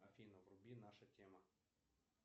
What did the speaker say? афина вруби наша тема